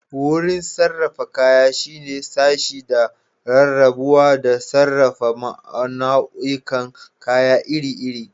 Wurin sarrafa kaya shine sashe da rarrabuwa da sarrafa nau'ikan kaya iri-iri.